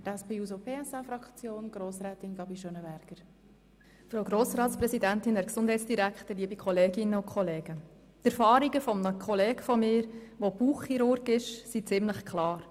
Die Erfahrungen eines Kollegen von mir, der Bauchchirurg ist, sind ziemlich klar.